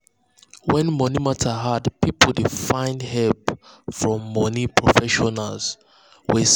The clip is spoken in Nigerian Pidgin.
when money matter hard people dey find help from money professionals wey sabi.